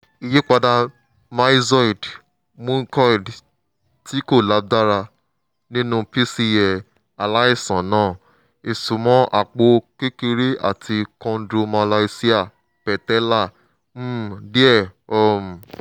ìyípadà myxoid/mucoid tí kò lágbára nínú pcl aláìsàn náà? ìsunmọ̀ àpò kékeré àti chondromalacia patella um díẹ̀ um